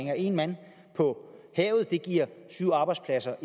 at en mand på havet giver syv arbejdspladser